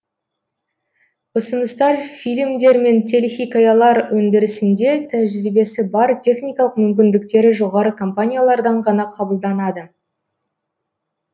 ұсыныстар фильмдер мен телехикаялар өндірісінде тәжірибесі бар техникалық мүмкіндіктері жоғары компаниялардан ғана қабылданады